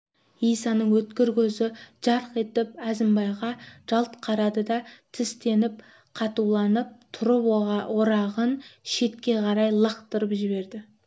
исаның өткір көзі жарқ етіп әзімбайға жалт қарады да тістеніп қатуланып тұрып орағын шетке қарай лақтырып жіберді